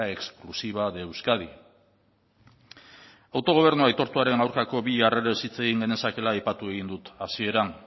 exclusiva de euskadi autogobernu aitortuaren aurkako bi jarrerez hitz egin genezakeela aipatu egin dut hasieran